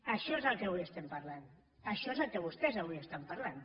això és del que avui estem parlant això és del que vostès estan parlant